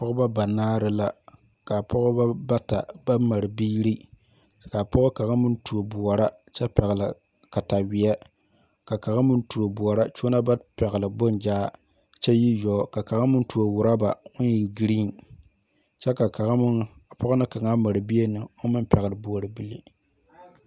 Pɔgeba banaare la kaa pɔgeba bata baŋ mare biiri kaa pɔge kaŋa meŋ tuo bɔta kyɛ ka pɛgli kataweɛ ka kaŋa meŋ tuo bɔraa kyɛ one ba pɛgli boŋ zaa kyɛ yi weɛ ka kaŋa meŋ rɔba oŋ e green kyɛ la kaŋa meŋ pɔge na kaŋa naŋ mari bie oŋ meŋ peɛli bɔribili